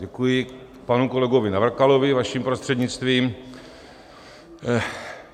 Děkuji panu kolegovi Navrkalovi vaším prostřednictvím.